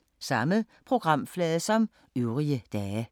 Samme programflade som øvrige dage